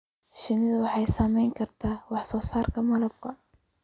Shinnidu waxay saameyn kartaa wax soo saarka malabka.